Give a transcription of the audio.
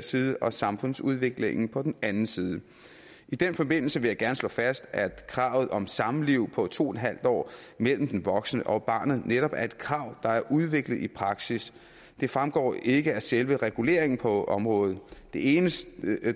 side og samfundsudviklingen på den anden side i den forbindelse vil jeg gerne slå fast at kravet om samliv på to en halv år mellem den voksne og barnet netop er et krav der er udviklet i praksis det fremgår ikke af selve reguleringen på området det eneste